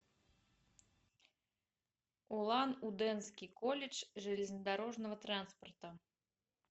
улан удэнский колледж железнодорожного транспорта